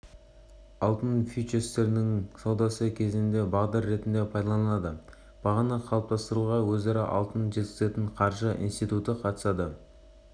алтын фьючерстерінің саудасы кезінде бағдар ретінде пайдаланылады бағаны қалыптастыруға өзара алтын жеткізетін қаржы институты қатысады